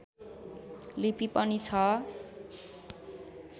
लिपि पनि छ